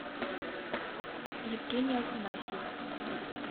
евгений афанасьев